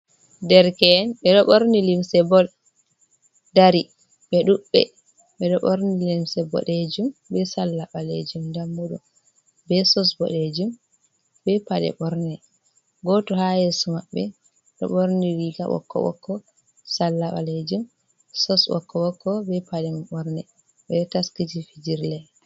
Derke’en ɓeɗo ɓorni limse bol dari ɓe ɗuɗɓe ɓeɗo ɓorni limse boɗejum be salla ɓalejum dammu ɗum, be sos boɗejum be paɗe borne goto ha yeso mabɓe ɗo ɓorni riga ɓokko ɓokko salla ɓalejum sos ɓokko ɓokko be paɗe ɓorne ɓe taskiti fijira.